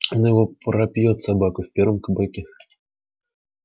он его пропьёт собака в первом кабаке